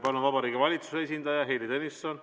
Palun Vabariigi Valitsuse esindaja Heili Tõnisson!